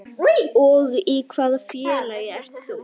Og í hvaða félagi ert þú?